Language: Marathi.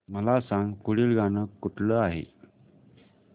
मला सांग पुढील गाणं कुठलं आहे